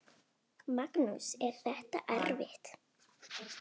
Magnús: Er þetta erfitt?